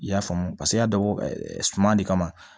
I y'a faamu paseke i y'a dabɔ suman de kama